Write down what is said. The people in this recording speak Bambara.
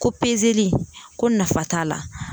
Ko li ko nafa t'a la